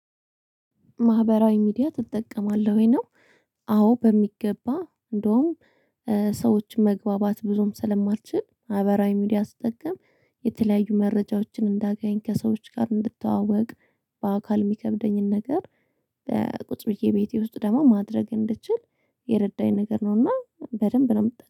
ማህበራዊ ሚዲያ ትጠቀማለህ ወይ ነው? አዎ በሚገባ እንደውም ሰዎች መግባባት ብዙም ስለማልችል ማህበራዊ ሚዲያ ስትጠቀም የተለያዩ መረጃዎችን እንዳገኝ ከሰዎች ጋር እንድታወቅ። በአካል የሚከብደኝን ነገር ቁጭ ብዬ ቤቴ ውስጥ ደግሞ ማድረግ እንድችል የረዳኝ ነገር ነውና በደንብ ነው